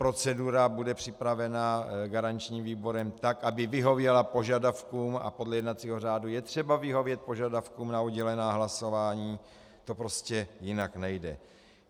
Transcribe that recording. Procedura bude připravena garančním výborem tak, aby vyhověla požadavkům, a podle jednacího řádu je třeba vyhovět požadavkům na oddělená hlasování, to prostě jinak nejde.